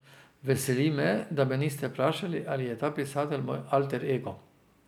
Veseli me, da me niste vprašali, ali je ta pisatelj moj alter ego.